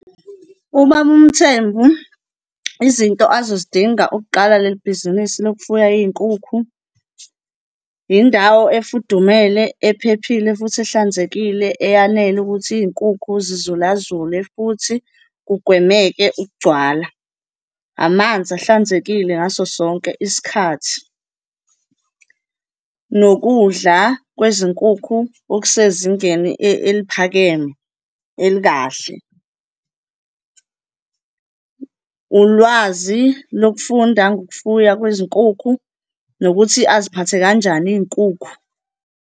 Ubaba uMthembu, izinto azozidinga ukuqala leli bhizinisi lokufuya iy'nkukhu, yindawo efudumele, ephephile futhi ehlanzekile eyanele ukuthi iy'nkukhu zizulazule futhi kugwemeke ukugcwala, amanzi ahlanzekile ngaso sonke isikhathi, nokudla kwezinkukhu okusezingeni eliphakeme, elikahle, ulwazi lokufunda ngokufuya kwezinkukhu nokuthi aziphathe kanjani iy'nkukhu.